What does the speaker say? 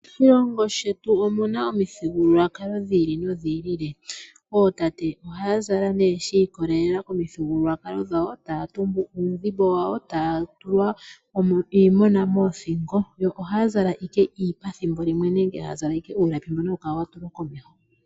Moshilongo shetu omuna omuthigululwakalo dhi ili nodhi ili. Ootate ohaya zala nee shiikolelela komithigululwakalo dhawo taya tumbu uudhimbo wawo taya tulwa iimona moothingo yo ohaya zala ike iipa ethimbo limwe nenge haya zala nenge uuna kemono yuuka komeho.